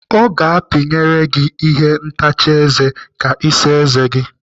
Ọ ga-apinyere gị ihe ntacha eze ka Ị saa eze gi.